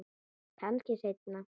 Kannski seinna.